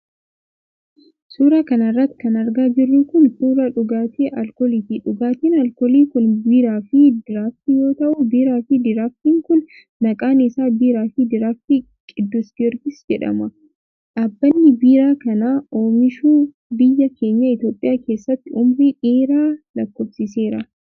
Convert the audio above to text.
Suura kana irratti kan argaa jirru kun ,suura dhugaatii alkooliiti. Dhugaatiin alkoolii kun biiraa fi diraaftii yoo ta'u ,biiraa fi diraaftiin kun maqaan isaa biiraa fi diraaftii Qiddus Giyoorgiis jedhama. Dhaabbanni biiraa kana oomishu ,biyya keenya Itoophiyaa keessatti umurii dheeraa lakkoofsiseera.